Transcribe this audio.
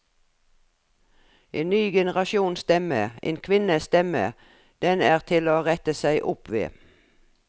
En ny generasjons stemme, en kvinnes stemme, den er til å rette seg opp ved.